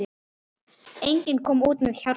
Enginn kom út með hjarta.